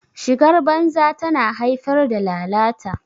shigar banza tana haifar da lalata